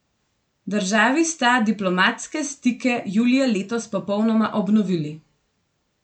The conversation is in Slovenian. Državi sta diplomatske stike julija letos popolnoma obnovili.